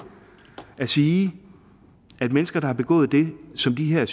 at sige at mennesker der har begået det som de her